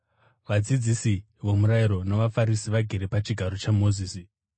“Vadzidzisi vomurayiro navaFarisi vagere pachigaro chaMozisi.